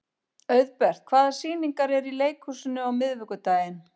Auðbert, hvaða sýningar eru í leikhúsinu á miðvikudaginn?